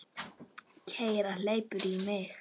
Kergja hleypur í mig.